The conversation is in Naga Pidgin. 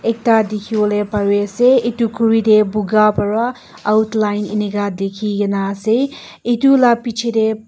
ekta tekibole pare ase etu kuri te puka pura outline enika lekikina ase etu la bechi ti.